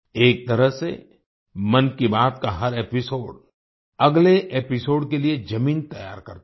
एक तरह से मन की बात का हर एपिसोड अगले एपिसोड के लिए जमीन तैयार करता है